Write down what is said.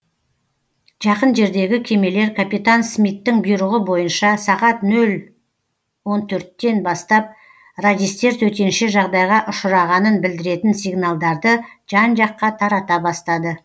жақын жердегі кемелер капитан смиттің бұйрығы бойынша сағат нөл он төрттен бастап радистер төтенше жағдайға ұшырағанын білдіретін сигналдарды жан жаққа тарата бастады